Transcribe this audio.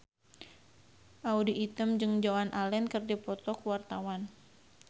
Audy Item jeung Joan Allen keur dipoto ku wartawan